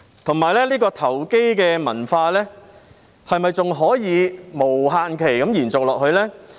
再者，這個投機的文化是否還可以無限期延續下去呢？